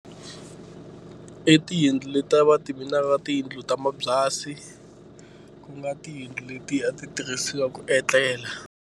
I tiyindlu leti va ti tiyindlu ta mabyasi ku nga tiyindlu letiya a ti tirhisiwa ku etlela.